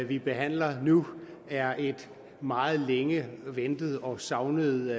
vi behandler nu er et meget længe ventet og savnet